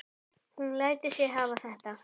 Hún lætur sig hafa þetta.